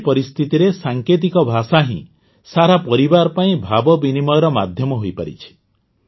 ଏଭଳି ପରିସ୍ଥିତିରେ ସାଙ୍କେତିକ ଭାଷା ହିଁ ସାରା ପରିବାର ପାଇଁ ଭାବବିନିମୟର ମାଧ୍ୟମ ହୋଇପାରିଛି